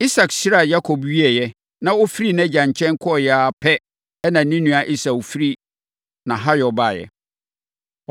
Isak hyiraa Yakob wieeɛ, na ɔfirii nʼagya nkyɛn kɔeɛ ara pɛ, na ne nua Esau firi nʼahayɔ baeɛ.